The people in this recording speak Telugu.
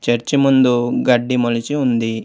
చర్చి ముందు గడ్డి మొలిచి ఉంది.